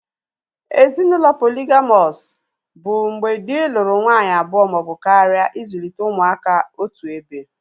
Ezinaụlọ poligamọs bụ mgbe dị lụrụ nwanyị abụọ maọbụ karịa ịzụlite ụmụaka otuebe